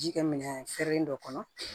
Ji kɛ minɛn fɛrɛlen dɔ kɔnɔ